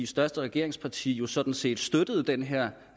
største regeringsparti jo sådan set støttede den her